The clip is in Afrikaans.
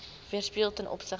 weerspieël ten opsigte